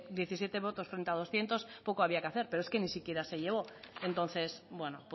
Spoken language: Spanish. diecisiete votos frente a doscientos poco había que hacer pero es que ni siquiera se llevó entonces bueno